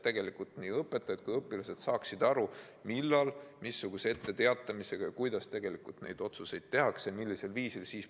Siis nii õpetajad kui õpilased saaksid aru, kuidas tegelikult neid otsuseid tehakse ja missugune on etteteatamise aeg.